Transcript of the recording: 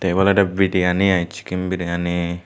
ebo olode biriyani ai chicken biriyani.